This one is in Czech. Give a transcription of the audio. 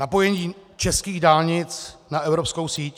Napojení českých dálnic na evropskou síť?